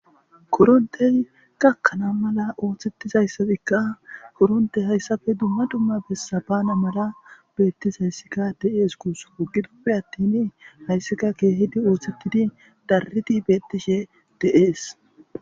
Korontey gakkana mala oothetizaysika,korontey hesappe dumma dumma bessa baana mala bessizaysi de'ees guusuko. Gidoppe attin haysika keehidi oothetidi daridi oothetishe de'ees.